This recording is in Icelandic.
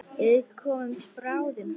Við komum bráðum.